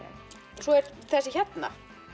svo er þessi hérna